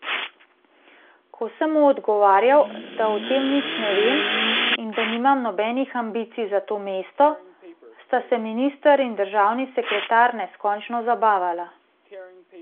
Ko sem mu odgovarjal, da o tem nič ne vem in da nimam nobenih ambicij za to mesto, sta se minister in državni sekretar neskončno zabavala.